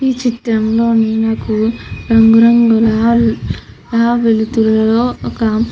ఈ ఈ చిత్రం లోని నాకు రంగు రంగుల వెలుతురులో ఒక--